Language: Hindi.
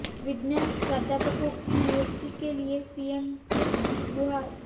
विज्ञान प्राध्यापकों की नियुक्ति के लिए सीएम से की गुहार